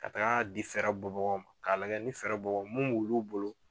Ka taga di fɛrɛ bɔbagaw ma k'a lagɛ ni fɛrɛ bɔ bagaw mu b' olu bolo